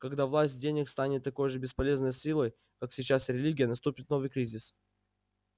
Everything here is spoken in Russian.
когда власть денег станет такой же бесполезной силой как сейчас религия наступит новый кризис